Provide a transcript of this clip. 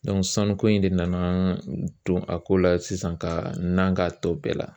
sanuko in de nana don a ko la sisan ka na ka tɔ bɛɛ la